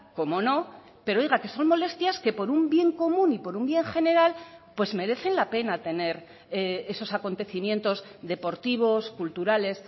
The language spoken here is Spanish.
como no pero oiga que son molestias que por un bien común y por un bien general pues merecen la pena tener esos acontecimientos deportivos culturales